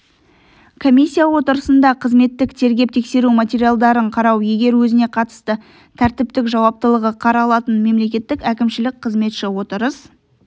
комиссия отырысында қызметтік тергеп-тексеру материалдарын қарау егер өзіне қатысты тәртіптік жауаптылығы қаралатын мемлекеттік әкімшілік қызметші отырыс